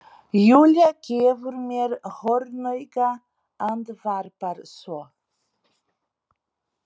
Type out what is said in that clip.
Júlía gefur mér hornauga, andvarpar svo.